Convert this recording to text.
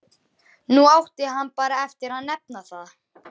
Nú átti hann bara eftir að nefna það.